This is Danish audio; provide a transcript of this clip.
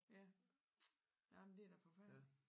Ja nå men det da forfærdeligt